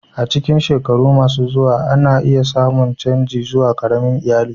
A cikin shekaru masu zuwa, ana iya samun canji zuwa ƙaramin iyali.